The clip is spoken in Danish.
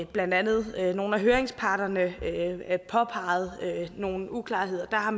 blandt andet nogle af høringsparterne påpegede nogle uklarheder har